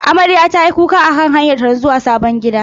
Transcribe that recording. Amarya tayi kuka akan hanyarta ta zuwa sabon gidanta.